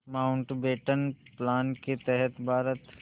Mountbatten plan के तहत भारत